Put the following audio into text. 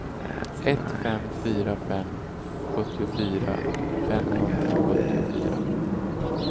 ett fem fyra fem sjuttiofyra femhundrasjuttiofyra